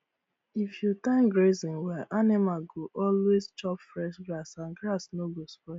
if you time grazing well animals go always chop fresh grass and grass no go spoil